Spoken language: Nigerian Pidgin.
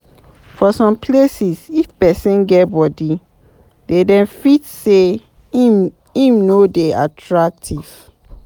For some places, if person get body, dem fit sey im no dey attractive